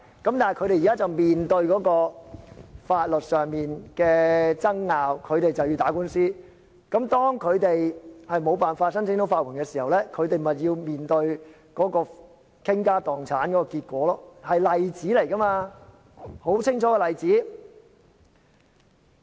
但是，他們現在面對法律上的爭拗，要打官司，當他們不能申請法援的時候，便要面對傾家蕩產的結果，這是一個例子，一個很清楚的例子。